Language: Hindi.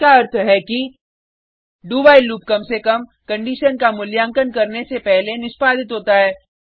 इस का अर्थ है कि do व्हाइल लूप कम से कम कंडिशन का मूल्यांकन करके से पहले निष्पादित होता है